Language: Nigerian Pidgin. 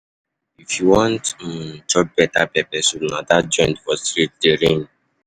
If you wan um chop better pepper soup, na dat joint for street dey reign.